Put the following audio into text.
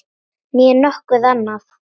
Né nokkuð annað.